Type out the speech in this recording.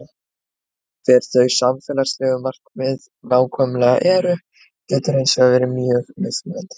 Hver þau samfélagslegu markmið nákvæmlega eru getur hins vegar verið mjög mismunandi.